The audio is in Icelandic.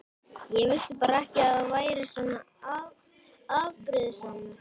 Ég vissi bara ekki að þú værir svona afbrýðisamur.